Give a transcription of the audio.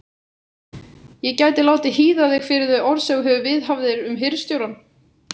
Ég gæti látið hýða þig fyrir þau orð sem þú viðhafðir um hirðstjórann.